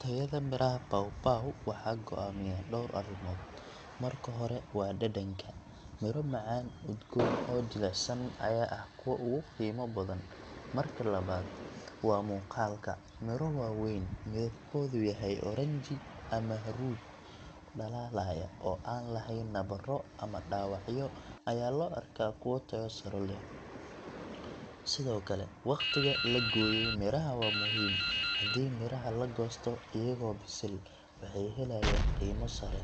Tayada miraha pawpaw waxaa go’aamiya dhowr arrimood. Marka hore waa dhadhanka – miro macaan, udgoon, oo jilicsan ayaa ah kuwa ugu qiimo badan. Marka labaad waa muuqaalka – miro waaweyn, midabkoodu yahay oranji ama huruud dhalaalaya, oo aan lahayn nabarro ama dhaawacyo ayaa loo arkaa kuwo tayo sare leh. Sidoo kale, waqtiga la gooyey miraha waa muhiim. Haddii midhaha la goosto iyagoo bisil, waxay helayaan qiimo sare,